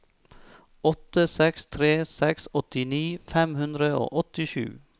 åtte seks tre seks åttini fem hundre og åttisju